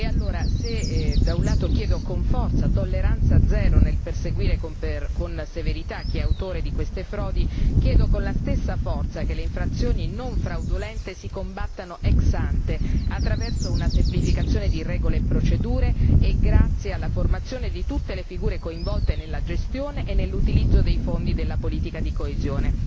E allora se da un lato chiedo con forza tolleranza zero nel perseguire con severità chi è autore di queste frodi, chiedo con la stessa forza che le infrazioni non fraudolente si combattano ex ante, attraverso una semplificazione di regole e procedure e grazie alla formazione di tutte le figure coinvolte nella gestione e nell'utilizzo dei fondi della politica di coesione.